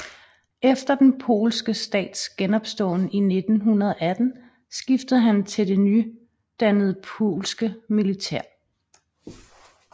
Efter den polske stats genopståen i 1918 skiftede han til det nydannede polske militær